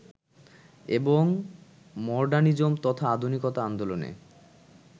এবং মডার্নিজম তথা আধুনিকতা আন্দোলনে